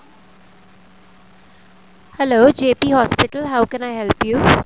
hello JP hospital how can i help you